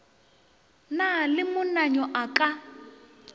na le monnayo a ka